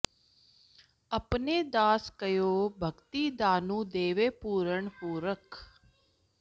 ਅਪੁਨ ੇ ਦਾਸ ਕਉ ਭਗਤਿ ਦਾਨੁ ਦੇਵੈ ਪੂਰਨ ਪੁਰਖੁ